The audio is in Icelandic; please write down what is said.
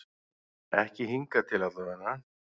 Ekki hingað til allavega.